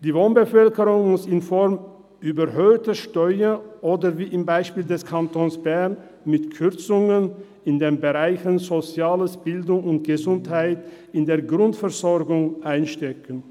Die Wohnbevölkerung muss infolge der überhöhten Steuern oder wie im Fall des Kantons Bern mit Kürzungen in den Bereichen Soziales, Bildung und Gesundheit bei der Grundversorgung einstecken.